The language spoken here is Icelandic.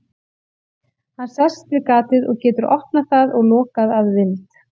Hann sest við gatið og getur opnað það og lokað að vild.